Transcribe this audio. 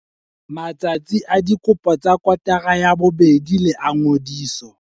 Matsatsi a dikopo tsa kotara ya bobedi le a ngodiso.